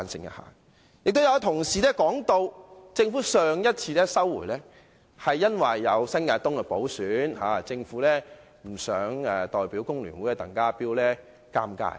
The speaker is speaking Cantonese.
有同事提到，政府上次撤回《條例草案》，是因為有新界東的補選，政府不想令代表工聯會的鄧家彪尷尬。